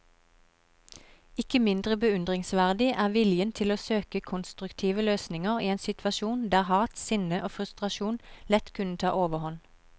Ikke mindre beundringsverdig er viljen til å søke konstruktive løsninger i en situasjon der hat, sinne og frustrasjon lett kunne ta overhånd.